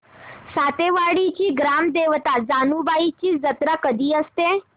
सातेवाडीची ग्राम देवता जानुबाईची जत्रा कधी असते